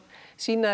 sýna